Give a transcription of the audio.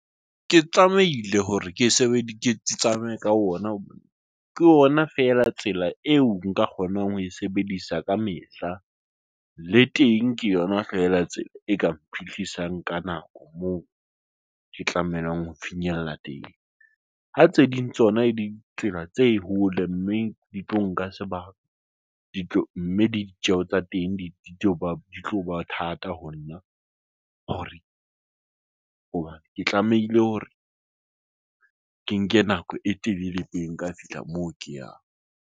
Ke tsamaile hore ke sebe diketso, tsamaye ka ona, ke yona feela tsela eo nka kgonang ho e sebedisa ka mehla le teng ke yona hlahela tsela e ka mphehlisa ka nako moo ke tlamehileng ho finyella teng. Ha tse ding tsona e ditsela tse hole, mme di tlo nka sebaka ditlo, mme di ditjeho tsa teng di tlo ba di tlo ba thata ho nna hore hobane ke tlamehile hore ke nke nako e telele pele ka fihla moo ke yang.